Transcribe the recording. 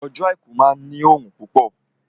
Ọjọ́ àìkú máa ní òrùn púpọ̀